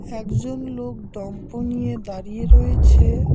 একজন লোক দম্প নিয়ে দাঁড়িয়ে রয়েছে।